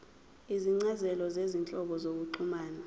izincazelo zezinhlobo zokuxhumana